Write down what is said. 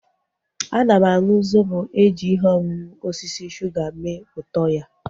Ana m aṅụ zobo eji ihe ọṅụṅụ osisi suga mee ụtọ ya